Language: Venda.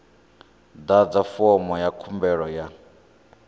ḓadza fomo ya khumbelo ya